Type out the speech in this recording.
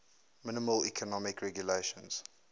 minimal economic regulations